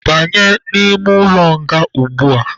Banye n'ime ụlọ nga ugbua!.